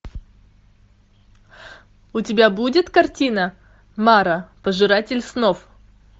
у тебя будет картина мара пожиратель снов